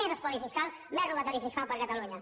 més espoli fiscal més robatori fiscal per a catalunya